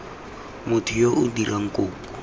motho yo o dirang kopo